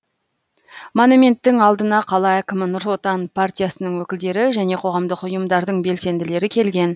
монументтің алдына қала әкімі нұр отан партиясының өкілдері және қоғамдық ұйымдардың белсенділері келген